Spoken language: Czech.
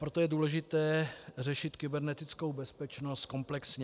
Proto je důležité řešit kybernetickou bezpečnost komplexně.